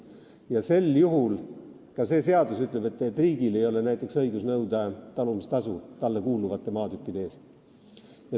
Sel juhul ka seadus ütleb, et riigil ei ole näiteks õigust nõuda talumistasu talle kuuluvate maatükkide eest.